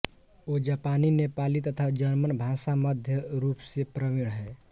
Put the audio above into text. वो जापानी नेपाली तथा जर्मन भाषा मध्यम रूपसे प्रविण हैं